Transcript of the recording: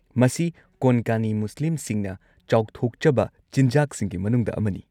ꯃꯁꯤ ꯀꯣꯟꯀꯥꯅꯤ ꯃꯨꯁꯂꯤꯝꯁꯤꯡꯅ ꯆꯥꯎꯊꯣꯛꯆꯕ ꯆꯤꯟꯖꯥꯛꯁꯤꯡꯒꯤ ꯃꯅꯨꯡꯗ ꯑꯃꯅꯤ꯫